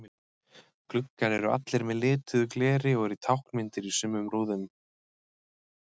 Gluggar eru allir með lituðu gleri og eru táknmyndir í sumum í rúðum.